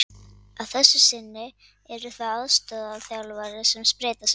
Að þessu sinni eru það aðstoðarþjálfarar sem spreyta sig.